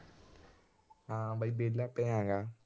ਹਾਂ ਬਈ ਵਿਹਲਾ ਪਿਆ ਗਾ।